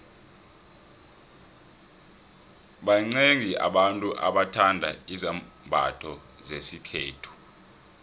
baxiengi abantu abathanda izambotho zesikhethu